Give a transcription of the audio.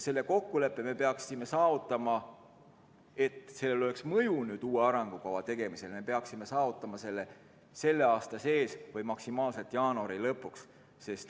Selle kokkuleppe me peaksime saavutama, et sellel oleks mõju uue arengukava tegemisel, selle aasta sees või kõige hiljem jaanuari lõpuks.